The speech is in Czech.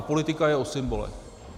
A politika je o symbolech.